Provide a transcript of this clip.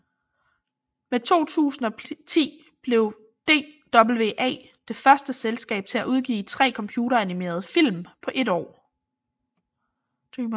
Med 2010 blev DWA det første selskab til at udgive 3 computeranimerede film på et år